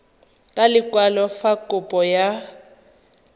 ka lekwalo fa kopo ya